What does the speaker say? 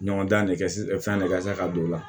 Ɲɔgɔn dan de kɛ fɛn ne ka se ka don o la